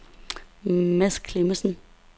Mads Clemmensen